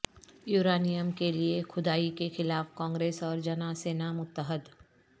uranium کیلئے کھدائی کے خلاف کانگریس اور جنا سینا متحد